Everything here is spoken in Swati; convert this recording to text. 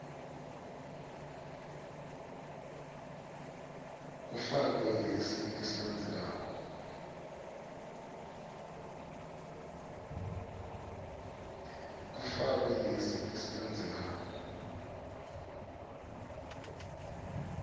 kufakwe lesi lesilandzelako